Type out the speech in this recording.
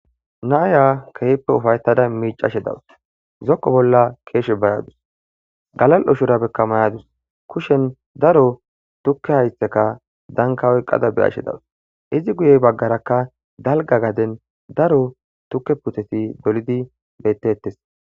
Naaya kehippe ufaytada miicashe dawus zoqo bolla keeshe baradus galal' ushura bekka mayadus kushen daro tukke haytteka dankawoy qada be ashe dawus izi guyey baggarakka dalga gaden daro tukke puteti dolidi bettettes